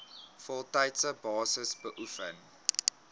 voltydse basis beoefen